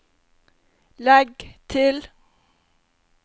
legg til